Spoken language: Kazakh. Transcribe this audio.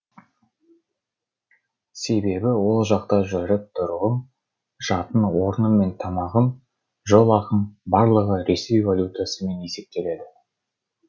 себебі ол жақта жүріп тұруым жатын орным мен тамағым жол ақым барлығы ресей валютасымен есептеледі